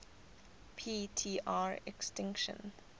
p tr extinction